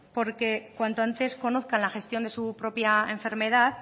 porque cuanto antes conozcan la gestión de su propia enfermedad